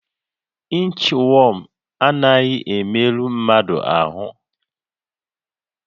Inchwọm anaghị emerụ mmadụ ahụ